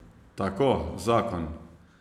Tako zakon.